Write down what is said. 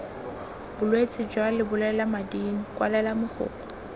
bolwetse jwa lebolelamading kwalela mogokgo